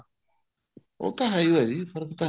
ਉਹ ਤਾਂ ਹੈ ਓ ਆ ਜੀ ਫਰਕ ਤਾਂ